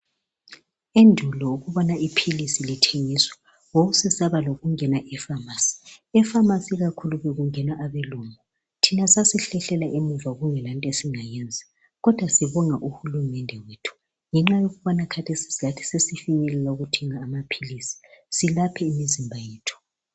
Endulo ukubona iphilisi lithengiswa wawusesaba lokungena e pharmacy. Epharmarcy ikakhulu bekungena abelungu thina sasihlihlela emuva kodwa sibonga uhulumende wethu ngoba lathi khathesi sesifinyelela ukuthenga amaphilisi silaphe imizimba yethu